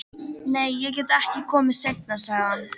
Nei, ég get ekki komið seinna, sagði hann.